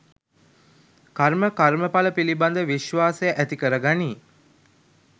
කර්ම කර්මඵල පිළිබඳ විශ්වාසය ඇති කරගනියි.